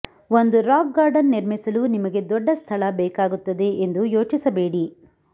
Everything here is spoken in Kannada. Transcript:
ಒಂದು ರಾಕ್ ಗಾರ್ಡನ್ ನಿರ್ಮಿಸಲು ನಿಮಗೆ ದೊಡ್ಡ ಸ್ಥಳ ಬೇಕಾಗುತ್ತದೆ ಎಂದು ಯೋಚಿಸಬೇಡಿ